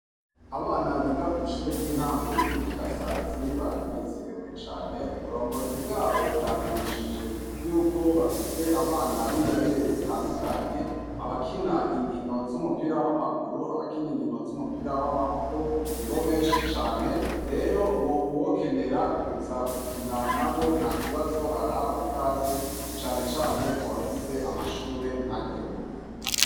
Abana biga kw'ishure ry'intango ry'i bukirasazi baranezerewe cane uburongozi bwabo bwamenyesheje yuko bafise abana b'ingabire zitandukanye abakina inkino z'umupira w'amaguru abakina inkino z'umupira w'amaboko ni bo benshi cane rero ngo uwokenera kuza gukia na na bo nta kibazo arahawe ikaze canecane ku bafise amashure nka ryo.